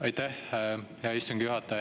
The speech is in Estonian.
Aitäh, hea istungi juhataja!